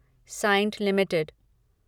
Cyient limited